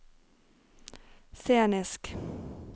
scenisk